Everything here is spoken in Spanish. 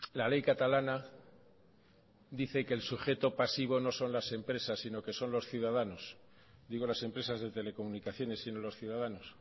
la ley catalana dice que el sujeto pasivo no son las empresas sino que son los ciudadanos digo las empresas de telecomunicaciones sino los ciudadanos